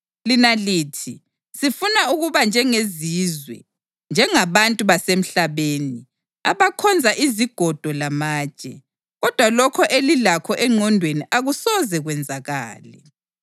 Lina lithi, “Sifuna ukuba njengezizwe, njengabantu basemhlabeni, abakhonza izigodo lamatshe.” Kodwa lokho elilakho engqondweni akusoze kwenzakale.